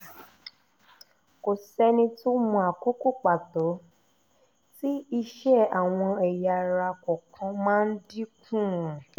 kò sẹ́ni tó mọ àkókò pàtó tí iṣẹ́ àwọn ẹ̀yà ara kọ̀ọ̀kan má ń dínkù